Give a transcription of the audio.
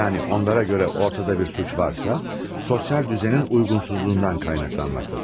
Yəni onlara görə ortada bir cinayət varsa, sosial nizamın uyğunsuzluğundan qaynaqlanmaqdadır.